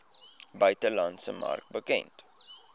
buitelandse mark bekend